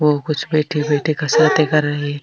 वो कुछ बैठे बैठे कसरतें कर रहे है।